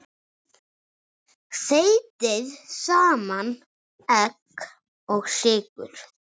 Þeytið saman egg og sykur.